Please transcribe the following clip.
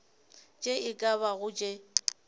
tše e ka bago tše